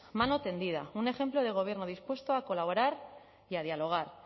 mano tendida un ejemplo del gobierno dispuesto a colaborar y a dialogar